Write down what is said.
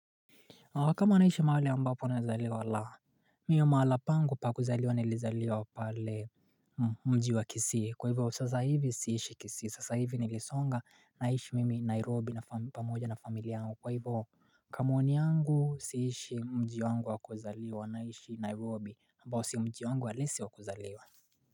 Kama naishi mahali ambapo nilizaliwa, la. Mimi mahala pangu pa kuzaliwa nilizaliwa pale mji wa kisii. Kwa hivyo sasa hivi siishi kisii, sasa hivi nilisonga naishi mimi Nairobi pamoja na familia yangu. Kwa hivyo Kwa maoni yangu siishi mji wangu wa kuzaliwa naishi Nairobi ambao sio mji wangu halisi wa kuzaliwa.